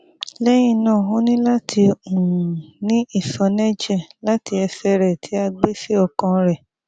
lẹhinna o ni lati um ni iṣọnẹjẹ lati ẹsẹ rẹ ti a gbe si ọkan rẹ